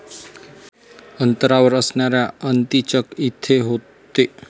अंतरावर असणाऱ्या अंतीचक येथे होते.